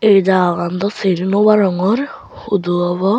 ei jagagan daw sini naw arongor hudu obo.